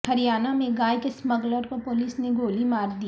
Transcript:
ہریانہ میں گائے کے اسمگلر کو پولیس نے گولی مار دی